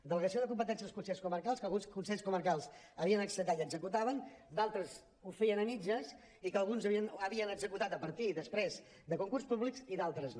delegació de competències als consells comarcals que alguns consells comarcals havien acceptat i executaven d’altres ho feien a mitges i que alguns havien executat a partir després de concursos públics i d’altres no